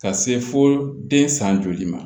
Ka se fo den san joli ma